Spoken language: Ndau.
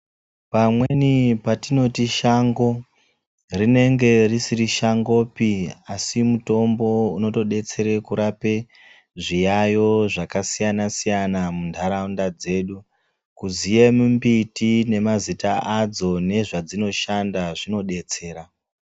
Pamweni patinoti shango, ringe risiri shangopi, asi mutombo unotodetsere kurape zviyayo zvakasiyana-siyana mundaraunda dzedu, kuziye mimbiti nemazita adzo nezvadzinoshanda zvinodetsera.